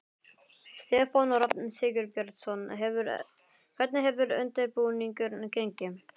Stefán Rafn Sigurbjörnsson: Hvernig hefur undirbúningur gengið?